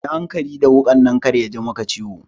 Yi hankali da wukar nan kar yaji maka ciwo.